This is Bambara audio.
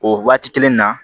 O waati kelen na